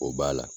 O b'a la